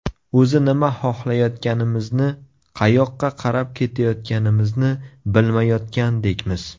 O‘zi nima xohlayotganimizni, qayoqqa qarab ketayotganimizni bilmayotgandekmiz.